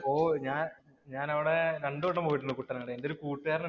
ഓ, ഞാന്‍ ഞാനവിടെ രണ്ടു വട്ടം പോയിട്ടുണ്ട് കുട്ടനാട്. എന്‍റെ ഒരു കൂട്ടുകാരനുണ്ട്.